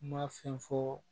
Kuma fɛn fɔɔ